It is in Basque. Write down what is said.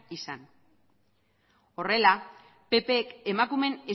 izan horrela ppk emakumeen